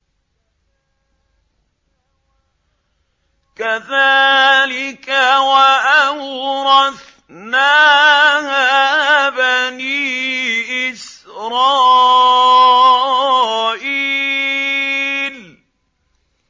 كَذَٰلِكَ وَأَوْرَثْنَاهَا بَنِي إِسْرَائِيلَ